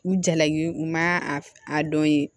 U jalaki u ma a dɔn ye